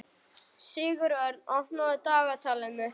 Sigurörn, opnaðu dagatalið mitt.